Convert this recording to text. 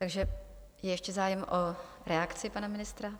Takže je ještě zájem o reakci pana ministra?